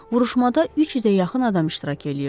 Vuruşmada 300-ə yaxın adam iştirak eləyirdi.